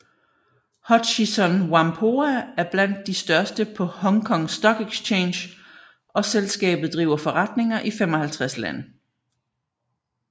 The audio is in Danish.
Hutchison Whampoa er blandt de største på Hong Kong Stock Exchange og selskabet driver forretninger i 55 lande